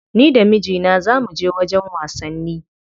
Ni da mijina za muje wajen wasanni.